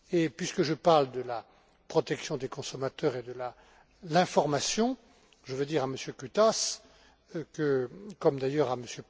Puisque je parle de la protection des consommateurs et de l'information, je veux dire à M. Cutaş, M.